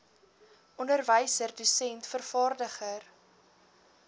onderwyser dosent vervaardiger